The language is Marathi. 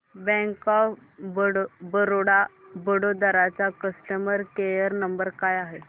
बँक ऑफ बरोडा वडोदरा चा कस्टमर केअर नंबर काय आहे